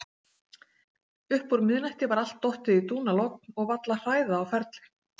Uppúr miðnætti var allt dottið í dúnalogn og varla hræða á ferli.